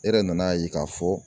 E yɛrɛ nan'a ye k'a fɔ